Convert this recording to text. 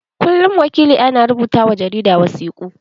Kullum wakilia na rubuta wa jarida wasiƙu.